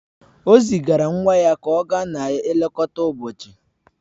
O zigara nwa ya ka ọ gaa na-elekọta ụbọchị